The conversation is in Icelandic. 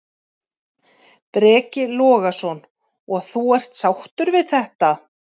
Breki Logason: Og þú er sáttur með þetta?